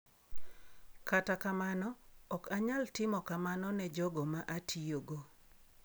Kata kamano, ok anyal timo kamano ne jogo ma atiyogo.